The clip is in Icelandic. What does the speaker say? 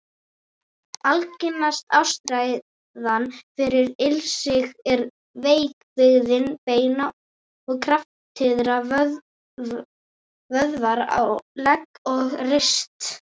Algengasta ástæðan fyrir ilsigi er veik bygging beina og kraftlitlir vöðvar á legg og rist.